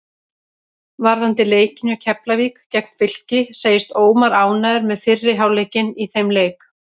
Varðandi leikinn hjá Keflavík gegn Fylki segist Ómar ánægður með fyrri hálfleikinn í þeim leik.